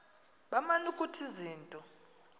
baman ukuthi izinto